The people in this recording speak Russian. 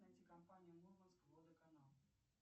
найти компанию мурманск водоканал